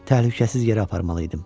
Təhlükəsiz yerə aparmalı idim.